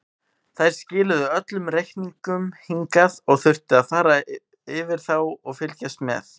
Þær skiluðu öllum reikningum hingað og þurfti ég að fara yfir þá og fylgjast með.